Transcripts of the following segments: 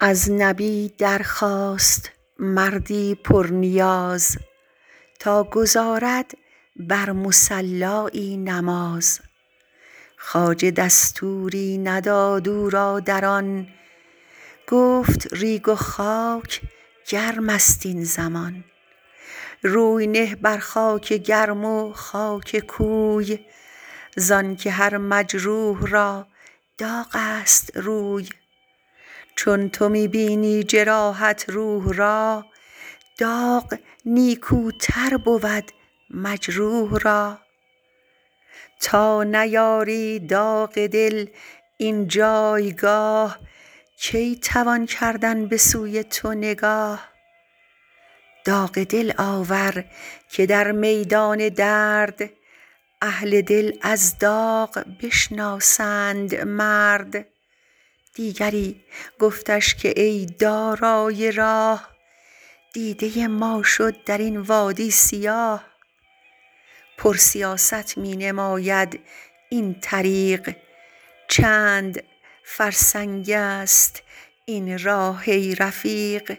از نبی در خواست مردی پر نیاز تا گزارد بر مصلایی نماز خواجه دستوری نداد او را در آن گفت ریگ و خاک گرمست این زمان روی نه بر خاک گرم و خاک کوی زانک هر مجروح را داغست روی چون تو می بینی جراحت روح را داغ نیکوتر بود مجروح را تا نیاری داغ دل این جایگاه کی توان کردن بسوی تو نگاه داغ دل آور که در میدان درد اهل دل از داغ بشناسند مرد دیگری گفتش که ای دارای راه دیده ما شد درین وادی سیاه پر سیاست می نماید این طریق چند فرسنگ است این راه ای رفیق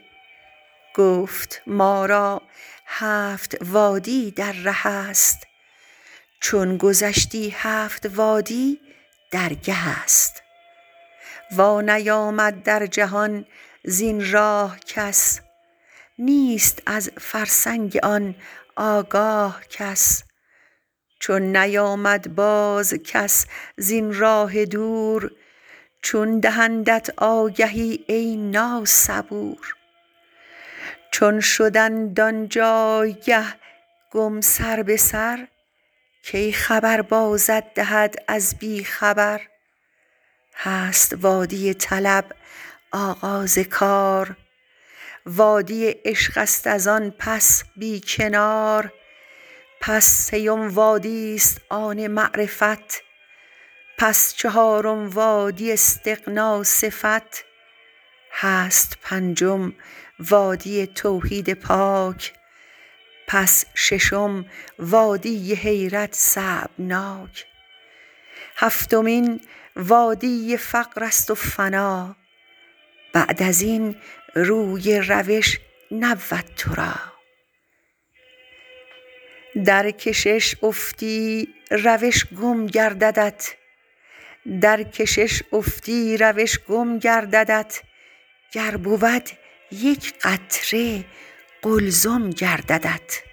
گفت ما را هفت وادی در ره است چون گذشتی هفت وادی درگه است وا نیامد در جهان زین راه کس نیست از فرسنگ آن آگاه کس چون نیامد بازکس زین راه دور چون دهندت آگهی ای نا صبور چون شدند آنجایگه گم سر به سر کی خبر بازت دهد از بی خبر هست وادی طلب آغاز کار وادی عشق است از آن پس بی کنار پس سیم وادیست آن معرفت پس چهارم وادی استغنی صفت هست پنجم وادی توحید پاک پس ششم وادی حیرت صعب ناک هفتمین وادی فقرست و فنا بعد ازین روی روش نبود ترا درکشش افتی روش گم گرددت گر بود یک قطره قلزم گرددت